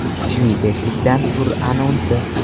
Kuchli beshlikdan tur anonsi.